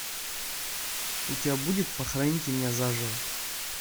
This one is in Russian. у тебя будет похороните меня заживо